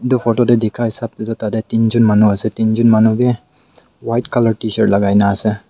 etu photo de dikha hisap de tade tinjun manu ase tinjun manu b white color tshirt lagai na ase.